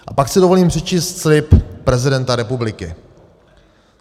A pak si dovolím přečíst slib prezidenta republiky.